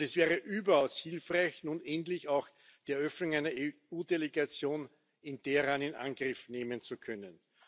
Und es wäre überaus hilfreich, nun endlich auch die Eröffnung einer EU Delegation in Teheran in Angriff nehmen zu können.